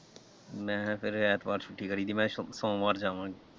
ਮੈਂ ਕਿਹਾ ਫਿਰ ਐਤਵਾਰ ਛੁੱਟੀ ਕਰੀਦੀ ਮੈਂ ਫਿਰ ਸੋਮਵਾਰ ਜਾਣਾ।